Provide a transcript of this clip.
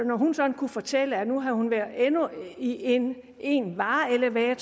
når hun sådan kunne fortælle at nu havde hun været i endnu en vareelevator